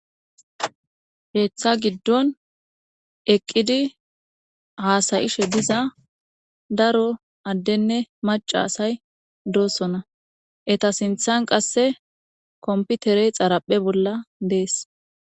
Heeththa giddon eqqidi haasayishe diza daro addenne maca asay doosona eta sinthan qasse komputerey xaraphe bolla dees.